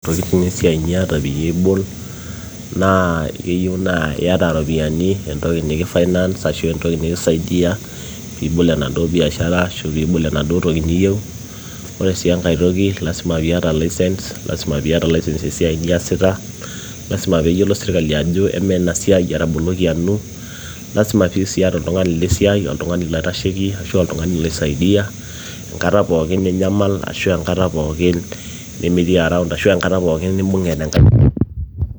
ntokitin esiai niata peyie ibol naa keyieu naa iyata iropiyiani entoki niki [csfinance ashu entoki nikisaidia piibol enaduo biashara ashu piibol enaduo toki niyieu ore sii enkae toki lasima piata license lasima piata license esiai niyasita lasima peeyiolo sirkali ajo amaa ena siai etaboloki anu lasima sii piyata oltung'ani lesiai oltung'ani loitasheki ashua oltung'ani loisaidia enkata pookin ninyamal ashu enkata pookin nimitii around ashu enkata pookin nimbung'e tenkae...